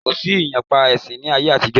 Kosi ìyapa ẹ̀sìn ni ayé àtijọ́.